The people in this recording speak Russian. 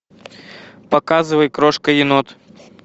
показывай крошка енот